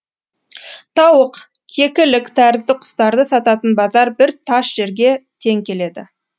тауық кекілік тәрізді құстарды сататын базар бір таш жерге тең келеді